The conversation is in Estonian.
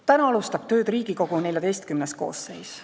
Täna alustab tööd Riigikogu XIV koosseis.